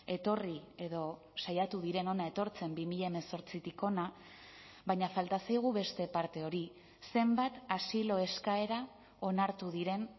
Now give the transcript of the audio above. etorri edo saiatu diren hona etortzen bi mila hemezortzitik hona baina falta zaigu beste parte hori zenbat asilo eskaera onartu diren